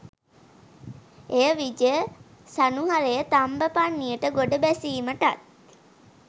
එය විජය සනුහරය තම්බපණ්නියට ගොඩ බැසීමටත්